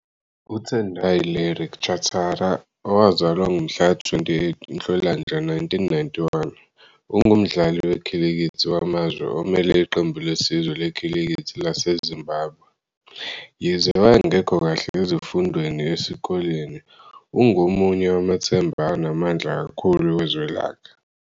UTendai Larry Chatara, owazalwa ngomhlaka 28 Nhlolanja 1991, ungumdlali wekhilikithi wamazwe omele iqembu lesizwe lekhilikithi laseZimbabwe. Yize wayengekho kahle ezifundweni esikoleni, ungomunye wamathemba anamandla kakhulu wezwe lakhe.